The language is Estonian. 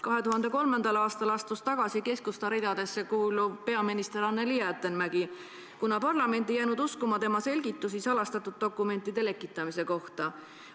2003. aastal astus tagasi Keskusta ridadesse kuuluv peaminister Anneli Jäätteenmäki, kuna parlament ei jäänud uskuma tema selgitusi salastatud dokumentide lekitamise kohta.